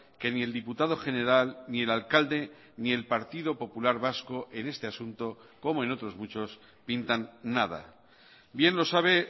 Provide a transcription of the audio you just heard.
que ni el diputado general ni el alcalde ni el partido popular vasco en este asunto como en otros muchos pintan nada bien lo sabe